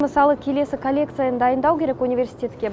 мысалы келесі коллекцияны дайындау керек университетке